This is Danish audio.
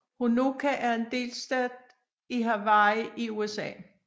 Honokaa er en by i delstaten Hawaii i USA